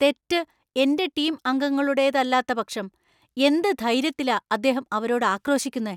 തെറ്റ് എന്‍റെ ടീം അംഗങ്ങളുടേതല്ലാത്ത പക്ഷം എന്ത് ധൈര്യത്തിലാ അദ്ദേഹം അവരോട് ആക്രോശിക്കുന്നെ?